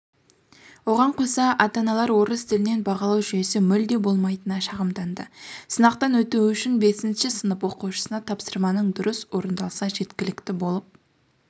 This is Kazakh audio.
оған қоса ата-аналар орыс тілінен бағалау жүйесі мүлде болмайтынына шағымданды сынақтан өтуі үшін бесінші сынып оқушысына тапсырманың дұрыс орындалса жеткілікті болып